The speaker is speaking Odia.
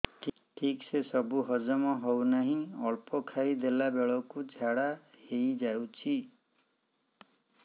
ଠିକସେ ସବୁ ହଜମ ହଉନାହିଁ ଅଳ୍ପ ଖାଇ ଦେଲା ବେଳ କୁ ଝାଡା ହେଇଯାଉଛି